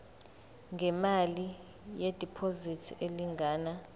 ngemali yediphozithi elingana